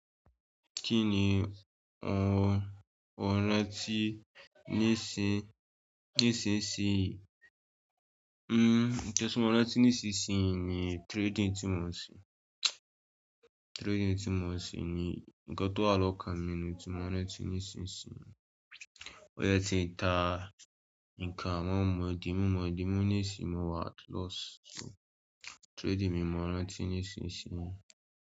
Kí ni mo rán tí nísin, nísinṣin, n ìti mo rán tí nísinṣin ni trading tí mo ń ṣe. Trading tí mo ń ṣe ni nǹkan tó wà lọ́kàn mi ni tí mo rán tí nísinṣin. Ó yẹ tí ń ta nǹkan àwọn mọ̀dí mú, mọ̀dí mú nísìí, mo wà at loss. So trading mi mọ rán tí nísinṣin.